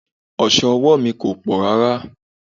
Oso ọwọ́ mi kò pọ̀ rárá.